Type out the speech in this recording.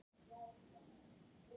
Rifi